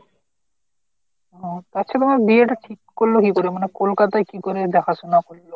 হম তাছাড়া তো বিয়ে তে ঠিক আচ্ছা তাহলে তোমার বিয়ে টা ঠিক করল কি করে মানে কলকাতায় কি করে দেখাশোনা করল ?